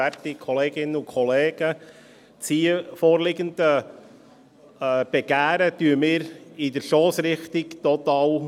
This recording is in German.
Das hier vorliegende Begehren unterstützen wir in der Stossrichtung total.